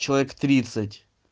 человек